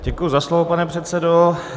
Děkuji za slovo, pane předsedo.